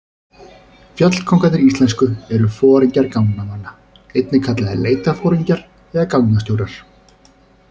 Fjallkóngarnir íslensku eru foringjar gangnamanna, einnig kallaðir leitarforingjar eða gangnastjórar.